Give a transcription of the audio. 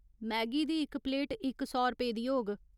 Maggi दी इक plate इक सौ रपेऽ दी होग।